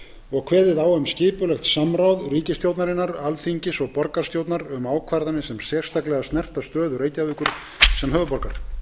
og kveðið á um skipulegt samráð ríkisstjórnarinnar alþingis og borgarstjórnar um ákvarðanir sem sérstaklega snerta stöðu reykjavíkur sem höfuðborgar